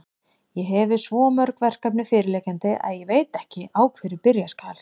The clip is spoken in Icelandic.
Ég hefi svo mörg verkefni fyrirliggjandi, að ég veit ekki, á hverju byrja skal.